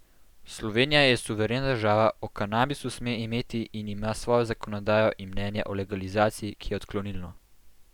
Slovenija je suverena država, o kanabisu sme imeti in ima svojo zakonodajo in mnenje o legalizaciji, ki je odklonilno.